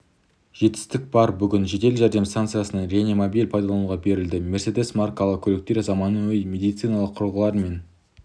жетістік бар бүгін жедел жәрдем станциясына реанимобиль пайдалануға берілді мерседес маркалы көліктер заманауи медициналық құрылғылармен